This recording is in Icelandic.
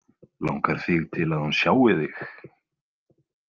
Langar þig til að hún sjái þig?